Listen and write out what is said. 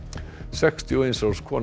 sextíu og eins árs kona